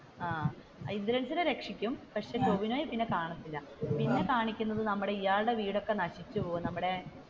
ആഹ് ഇന്ദ്രൻസിനെ രക്ഷിക്കും പക്ഷെ ടോവിനോയെ പിന്നെ കാണത്തില്ല പിന്നെ കാണിക്കുന്നത്, നമ്മുടെ ഇയാളുടെ വീടൊക്കെ നശിച്ചുപോവും നമ്മുടെ